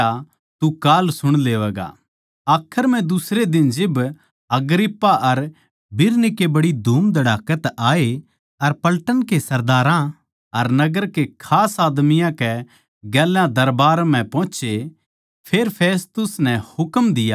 आखर म्ह दुसरे दिन जिब अग्रिप्पा अर बिरनीके बड्डी धूमधड़ाकै तै आये अर पलटन के सरदारां अर नगर के खास आदमियाँ कै गेल्या दरबार म्ह पोहोचे फेर फेस्तुस नै हुकम दिया के वे पौलुस ताहीं ली यावै